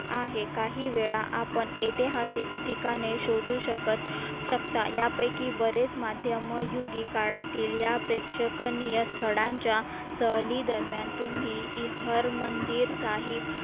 आहे काही वेळा आपण ऐतिहासिक ठिकाणे शोधू शकत शकता यापैकी बरेच माध्यम योग्य काळातील या प्रेक्षणीय स्थळांच्या सहली दरम्यान तुम्ही हर मंदिर साहेब आहे